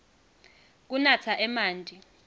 kunatsa emanti